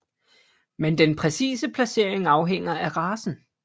Men den præcise placering afhænger af racen